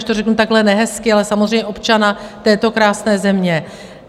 když to řeknu takhle nehezky, ale samozřejmě občana této krásné země.